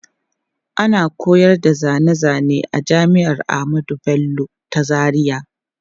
Ana koyar da zane zane a jami'ar Ahmadu Bello ta Zaria.